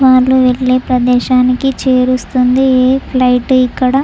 వాళ్లు వెళ్లే ప్రదేశానికి చేరుస్తుంది ఇది ఈ ఫ్లైట్ ఇక్కడ.